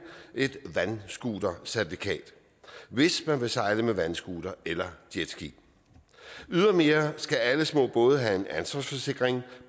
et vandscootercertifikat hvis man vil sejle med vandscooter eller jetski ydermere skal alle små både have en ansvarsforsikring